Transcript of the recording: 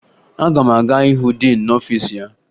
Aga m aga hụ diin n'ọfiisi ya